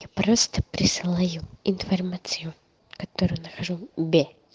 я просто присылаю информацию которую нахожу бе